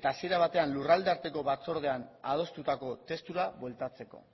eta hasiera batean lurraldearteko batzordean adostutako testura bueltatzeko